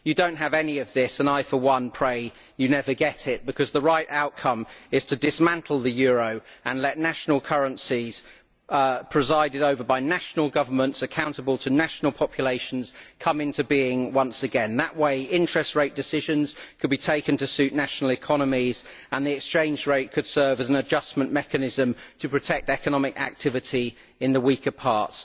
You do not have any of this, and I, for one, pray you never get it, because the right outcome is to dismantle the euro and let national currencies presided over by national governments accountable to national populations come into being once again. That way, interest rate decisions could be taken to suit national economies and the exchange rate could serve as an adjustment mechanism to protect economic activity in the weaker parts.